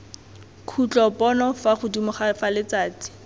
khutlopono fa godimo fa letsatsi